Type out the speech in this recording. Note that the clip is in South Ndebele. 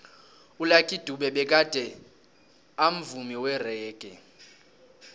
ulucky dube begade amvumi weraggae